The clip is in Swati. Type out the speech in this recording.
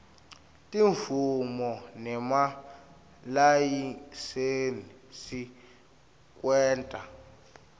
timvumo nemalayisensi kwenta